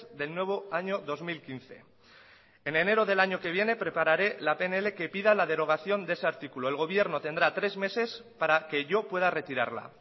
del nuevo año dos mil quince en enero del año que viene prepararé la pnl que pida la derogación de ese artículo el gobierno tendrá tres meses para que yo pueda retirarla